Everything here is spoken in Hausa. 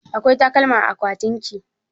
Akwai takalma a akwatinki?